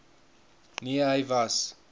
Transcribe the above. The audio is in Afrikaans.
nee hy was